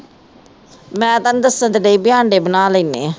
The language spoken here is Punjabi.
ਮੈ ਤੈਨੂੰ ਦਸਣ ਤੇ ਡਈ ਵੀ ਆਂਡੇ ਬਣਾ ਲੇਨੇ ਆ